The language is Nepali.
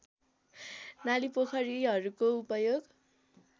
नाली पोखरीहरूको उपयोग